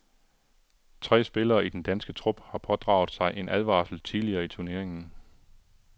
Tre spillere i den danske trup har pådraget sig en advarsel tidligere i turneringen.